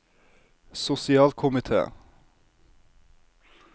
sosialkomite